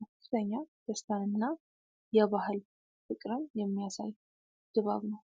ከፍተኛ ደስታንና የባህል ፍቅርን የሚያሳይ ድባብ ነው።